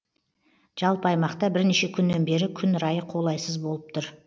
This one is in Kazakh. жалпы аймақта бірнеше күннен бері күн райы қолайсыз болып тұр